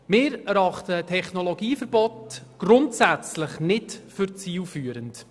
Wir erachten ein Technologieverbot grundsätzlich nicht als zielführend.